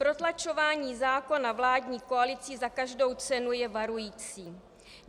Protlačování zákona vládní koalicí za každou cenu je varující.